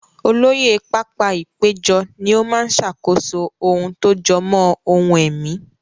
Olóyè pápá-ìpéjọ ni ó máa ṣàkóso ohun tó jọ mọ́ ohun ẹ̀mí.